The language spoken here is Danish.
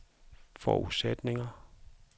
forudsætning